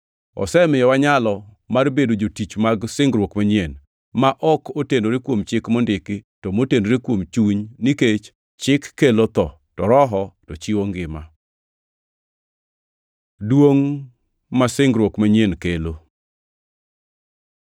Osemiyowa nyalo mar bedo jotich mag singruok manyien, ma ok otenore kuom chik mondiki, to motenore kuom chuny, nikech chik kelo tho, to Roho to chiwo ngima. Duongʼ ma singruok manyien kelo